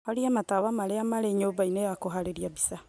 horia matawa marĩa marĩ nyũmba-inĩ ya kũharĩria mbica